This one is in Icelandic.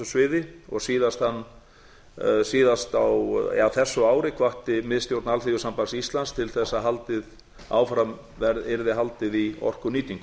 sviði og síðast á þessu ári hvatti miðstjórn alþýðusambands íslands til þess að áfram yrði haldið í orkunýtingu